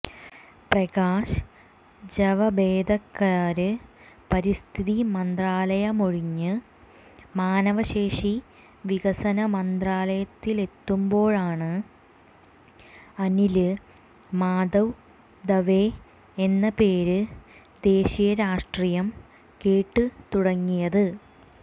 പ്രകാശ് ജാവദേക്കര് പരിസ്ഥിതി മന്ത്രാലയമൊഴിഞ്ഞ് മാനവശേഷി വികസന മന്ത്രാലയത്തിലെത്തുമ്പോഴാണ് അനില് മാധവ് ദവെ എന്ന പേര് ദേശീയ രാഷ്ട്രീയം കേട്ടുതുടങ്ങിയത്